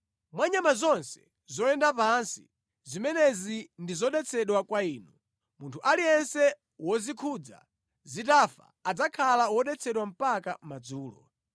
Mwa nyama zonse zoyenda pansi, zimenezi ndi zodetsedwa kwa inu. Munthu aliyense wozikhudza zitafa adzakhala wodetsedwa mpaka madzulo.